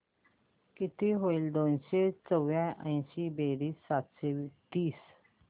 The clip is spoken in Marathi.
किती होईल दोनशे चौर्याऐंशी बेरीज सातशे तीस